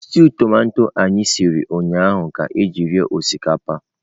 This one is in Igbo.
Stew tomato ahụ anyị siri ụnyahụ ka e ji rie osikapa.